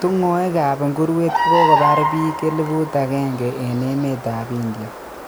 Tungoek ap nguruwet kokopar pik 1000 en emetap India